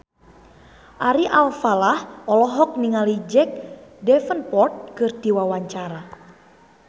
Ari Alfalah olohok ningali Jack Davenport keur diwawancara